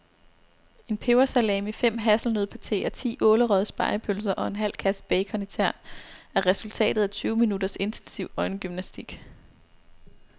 En pebersalami, fem hasselnøddepateer, ti ålerøgede spegepølser og en halv kasse bacon i tern er resultatet af tyve minutters intensiv øjengymnastik.